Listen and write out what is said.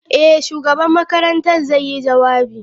Eh, shugaban makarantar zai yi jawabi.